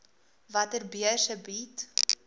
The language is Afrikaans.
watter beurse bied